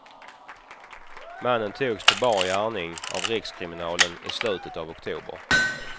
Mannen togs på bar gärning av rikskriminalen i slutet av oktober.